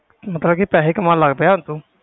ਮਤਲਬ ਕਿ ਪੈਸੇ ਕਮਾਉਣ ਲੱਗ ਪਿਆ ਤੂੰ।